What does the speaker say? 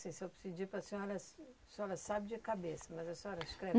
Assim se eu pedir para a senhora... A senhora sabe de cabeça, mas a senhora escreve?